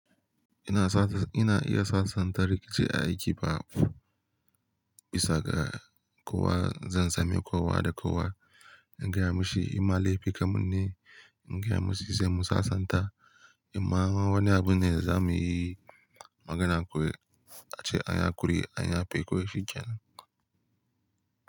Ina sa-- ina iya sasanta rikici a aiki ba bisa ga kowa zan same kowa da kowa. In gaya mashi, "Ima laifi kamun ne?" In gaya mashi, "sai mu sasanta." Ima wani abu ne da za mu yi magana. Ku ace anya kuri'anya, an ya fe kawai shikenan.